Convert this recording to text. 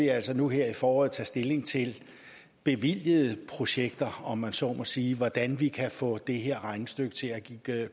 altså nu her i foråret tage stilling til bevilgede projekter om man så må sige altså hvordan vi kan få det her regnestykke til at